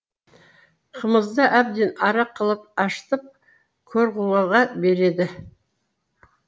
қымызды әбден арақ қылып ашытып көрғұлыға береді